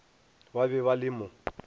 ba be ba le mo